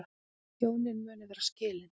Hjónin munu vera skilin